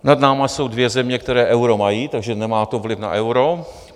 Nad námi jsou dvě země, které euro mají, takže to nemá vliv na euro.